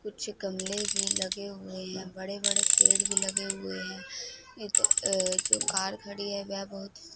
कुछ गमले भी लगे हुए हैं बड़े-बड़े पेड़ भी लगे हुए हैं एक अह जो कार खड़ी है वह बहुत ही --